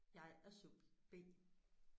Jeg er subjekt B